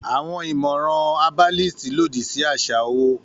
Àwọn ìmọ̀ràn herbalist lòdì sí àṣà owó